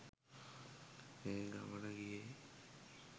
ඒ ගමන ගියේ